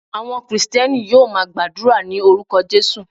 Àwọn Kristẹni yóò máa gbàdúrà ní orúkọ Jesus.